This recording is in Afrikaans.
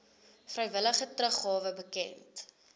vrywillige teruggawe bekend